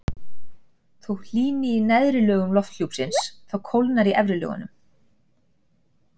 Þótt hlýni í neðri lögum lofthjúpsins þá kólnar í efri lögunum.